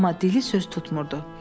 Amma dili söz tutmurdu.